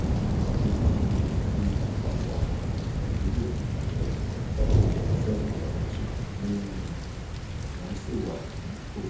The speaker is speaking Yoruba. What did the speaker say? ìwọ̀nyí ní àpapọ̀ àwọn àdúgbò 37 32 nínú wọn sì wà ní òkun.